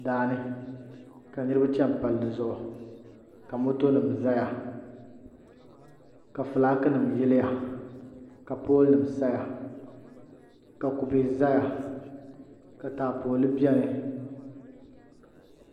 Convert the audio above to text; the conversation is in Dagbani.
Daani ka niraba chɛni palli zuɣu ka moto nim ʒɛya ka fulaaki nim yiliya ka pool nim saya ka kubɛ ʒɛya ka taapooli biɛni